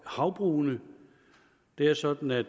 havbrugene det er sådan at